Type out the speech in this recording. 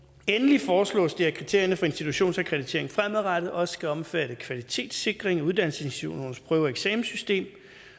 endelig foreslås det at kriterierne for institutionsakkreditering fremadrettet også skal omfatte kvalitetssikring af uddannelsesinstitutionernes prøve og eksamenssystem